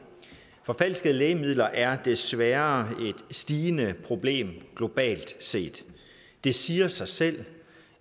forfalskede lægemidler er desværre et stigende problem globalt set det siger sig selv